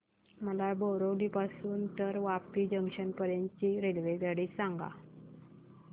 मला बोरिवली पासून तर वापी जंक्शन पर्यंत ची रेल्वेगाडी सांगा